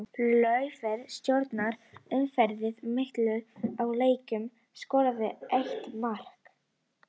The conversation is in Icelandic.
Laufey stjórnaði umferðinni á miðjunni í leiknum og skoraði eitt mark.